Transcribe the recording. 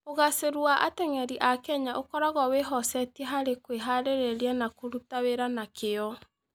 Ũgaacĩru wa ateng'eri a Kenya ũkoragwo wĩhocetie harĩ kwĩhaarĩria na kũruta wĩra na kĩyo.